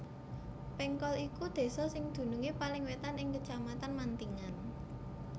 Pengkol iku désa sing dunungé paling wétan ing Kecamatan Mantingan